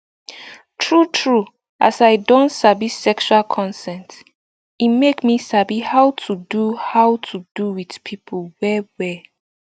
true true as i don sabi sexual consent e make me sabi how to do how to do with people well well